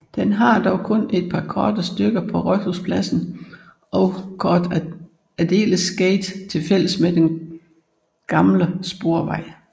Den har dog kun et par korte stykker på Rådhusplassen og Cort Adelers gate tilfælles med den gamle sporvej